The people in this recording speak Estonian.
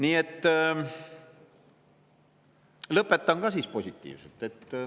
Aga ma lõpetan ka positiivselt.